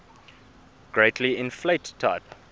greatly inflate type